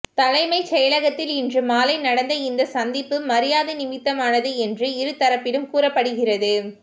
தலைமைச் செயலகத்தில் இன்று மாலை நடந்த இந்த சந்திப்பு மரியாதை நிமித்தமானது என்று இரு தரப்பிலும் கூறப்படுகிறது